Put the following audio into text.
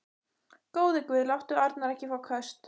Góði Guð, láttu Arnar ekki fá köst.